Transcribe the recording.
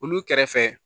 Olu kɛrɛfɛ